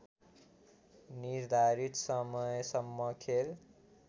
निर्धारित समयसम्म खेल